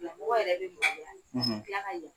Lamɔgɔ yɛrɛ be moloya ka tila ka ya